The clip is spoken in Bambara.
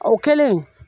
O kɛlen